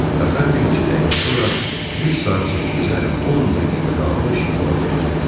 Qatar bir neçə dəqiqə sonra düz saat 8-ə 10 dəqiqə qalmış yola düşəcəkdi.